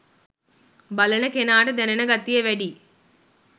බලන කෙනාට දැනෙන ගතිය වැඩියි